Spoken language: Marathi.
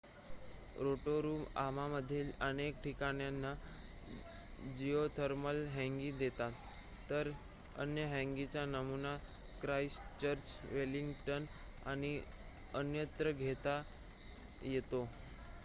रोटोरुआमधील अनेक ठिकाणे जिओथर्मल हँगी देतात तर अन्य हँगींचा नमुना ख्राईस्टचर्च वेलिंग्टन आणि अन्यत्र घेता येतो